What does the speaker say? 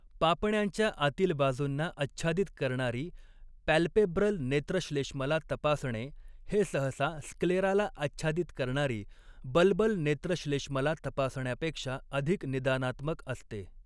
पापण्यांच्या आतील बाजूंना आच्छादित करणारी पॅल्पेब्रल नेत्रश्लेष्मला तपासणे, हे सहसा स्क्लेराला आच्छादित करणारी बल्बल नेत्रश्लेष्मला तपासण्यापेक्षा अधिक निदानात्मक असते.